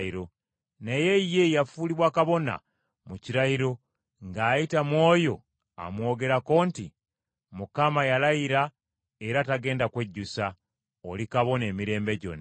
naye ye yafuulibwa kabona mu kirayiro, ng’ayita mu oyo amwogerako nti, “Mukama yalayira era tagenda kwejjusa: ‘Oli kabona emirembe gyonna.’ ”